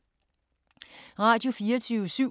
Radio24syv